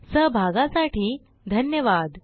सहभागासाठी धन्यवाद